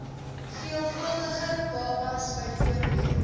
veelvuldige babas bv